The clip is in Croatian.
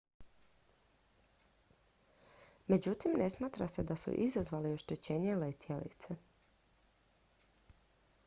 međutim ne smatra se da su izazvali oštećenje letjelice